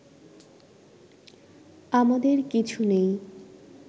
আমাদের কিছু নেই